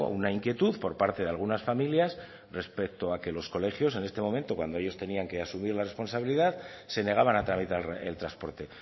una inquietud por parte de algunas familias respecto a que los colegios en este momento cuando ellos tenían que asumir la responsabilidad se negaban a tramitar el transporte